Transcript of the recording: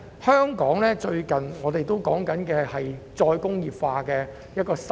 香港最近正在討論再工業化。